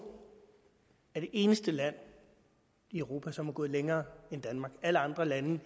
er det eneste land i europa som er gået længere end danmark alle andre lande